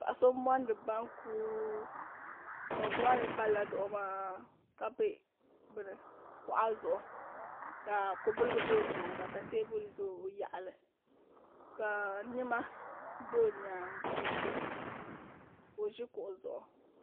paɣ' so mondi bankɔ bakumaa mi palila zuɣ' maa ka bɛ kuɣ' zuɣ' ka kɔbiliga bɛ o nyɛŋa ka tɛbuli bɛ o yaɣili ka nɛma bɛ o nyɛŋa ka o ʒɛ kuɣ' zuɣ'